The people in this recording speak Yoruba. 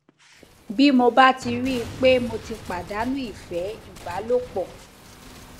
bí mo bá ti rí i pé mo ti pàdánù ìfé ìbálòpò